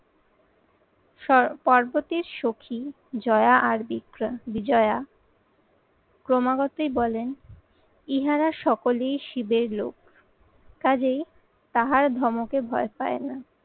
স্ব~ পার্বতীর সখি জয়া আর বিক্রম বিজয়া ক্রমাগতই বলেন ইহারা সকলেই শিবের লোক কাজেই তাহার ধমকে ভয় পায় না।